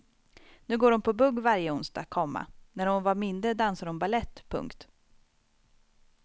Nu går hon på bugg varje onsdag, komma när hon var mindre dansade hon balett. punkt